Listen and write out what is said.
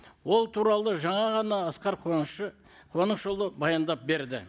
ол туралы жаңа ғана асқар қуанышұлы баяндап берді